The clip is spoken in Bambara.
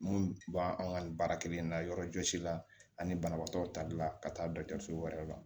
Mun b'an an ka nin baara kelen in na yɔrɔ jɔsi la ani banabaatɔw tali la ka taa dɔgɔtɔrɔso wɛrɛ la